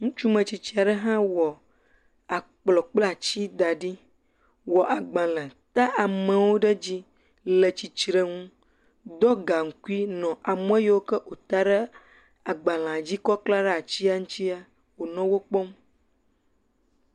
Ŋutsu ame tsitsi aɖe hã wɔ kplɔ̃ kple atsi da ɖi, wɔ agbalẽ, ta amewo ɖe edzi, le tsitre nu, do gaŋkui nɔ ameyiwo wota ɖe agbalẽa dzi kɔ klã ɖe atsia ŋuti wonɔ wo kpɔm.